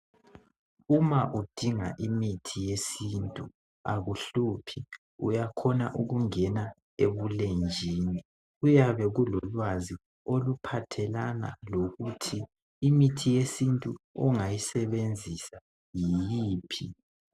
Uma udinga imithi yesintu akuhluphi uyakhona ukungena ebulenjini kuyabe kulolwazi oluphathelana lokuthi imithi yesintu ongayisebenzisa yiphi.